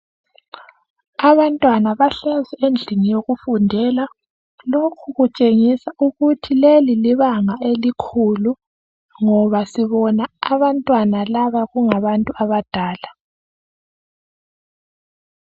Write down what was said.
Abantwana bahlezi endlini yokufundela . Lokhu kutshengisa ukuthi leli libanga elikhulu ngoba sibona abantwana laba kungabantu abadala .